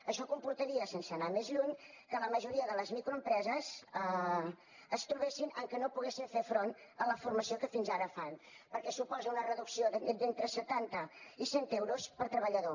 això comportaria sense anar més lluny que la majoria de les microempreses es trobessin que no poden fer front a la formació que fins ara fan perquè suposa una reducció d’entre setanta i cent euros per treballador